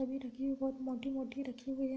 बहोत मोटी-मोटी रखी हुई है।